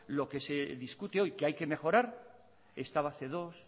lo que se discute hoy que hay que mejorar estaba hace dos